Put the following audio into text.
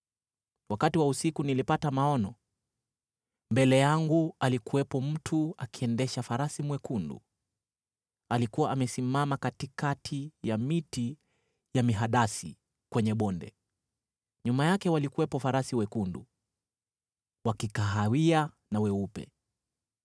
Wakati wa usiku nilipata maono, mbele yangu alikuwepo mtu akiendesha farasi mwekundu! Alikuwa amesimama katikati ya miti ya mihadasi kwenye bonde. Nyuma yake walikuwepo farasi wekundu, wa kikahawia na weupe.